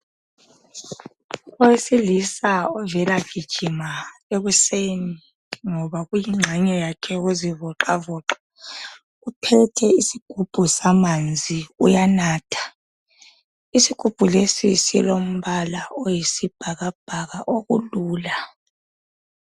Owesilisa ovela gijima ekuseni ngoba kuyingxenye yakhe yokuzivoxavoxa uphethe isigubhu samanzi uyanatha. Isigubhu lesi silombala oyisibhakabhaka okulula.